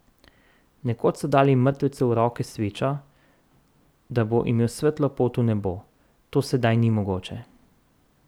Nekoč so dali mrtvecu v roke svečo, da bo imel svetlo pot v nebo, to sedaj ni mogoče.